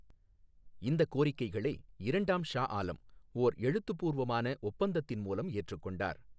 இந்தக் கோரிக்கைகளை இரண்டாம் ஷா ஆலம் ஓர் எழுத்துப்பூர்வமான ஒப்பந்தத்தின் மூலம் ஏற்றுக் கொண்டார்.